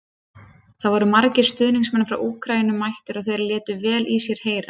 Það voru margir stuðningsmenn frá Úkraínu mættir og þeir létu vel í sér heyra.